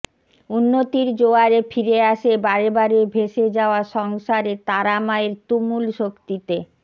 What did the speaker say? উন্নতির জোয়ারে ফিরে আসে বারেবারে ভেসে যাওয়া সংসারে তারা মায়ের তুমুল শক্তিতে